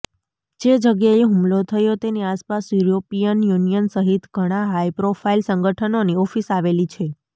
જે જગ્યાએ હુમલો થયો તેની આસપાસ યૂરોપિયન યૂનિયન સહિત ઘણા હાઈપ્રોફાઈલ સંગઠનોની ઓફિસ આવેલી છે